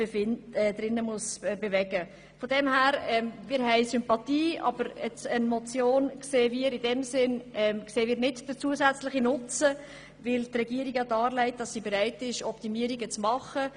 Von dem her gesehen haben wir Sympathien für diesen Vorstoss, aber wir sehen den zusätzlichen Nutzen einer Motion nicht, weil die Regierung ja darlegt, dass sie bereit ist, Optimierungen vorzunehmen.